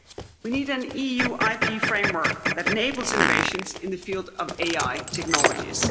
We need an EU IP framework that enables innovations in the field of AI technologies.